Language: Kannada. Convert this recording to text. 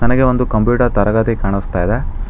ನನಗೆ ಒಂದು ಕಂಪ್ಯೂಟರ್ ತರಗತಿ ಕಾಣಿಸ್ತ ಇದೆ.